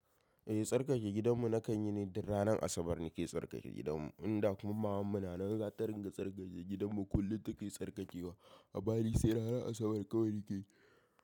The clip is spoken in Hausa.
Eh tsarkake gidanmu na kan yi ne, dan ranar Asabar ne ke tsarkake gidanmu. Inda kuma maman mu na nan za ta ringa tsarkake gidanmu kullum take tsarkakewa. A bari sai ranar Asabar kawai ni ke.